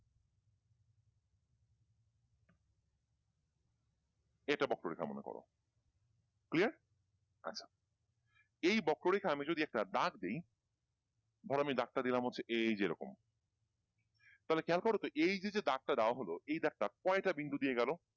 এই একটা বক্ররেখা মনে করো clear? আচ্ছা এই বক্ররেখায় আমি যদি একটা দাগ দিই ধরো আমি দাগ টা দিলাম হচ্ছে এই যে এরকম তাহলে খেয়াল করতো এই যে যে দাগটা দেওয়া হল এই দাগটা কয়টা বিন্দু দিয়ে গেল?